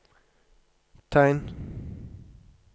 tegn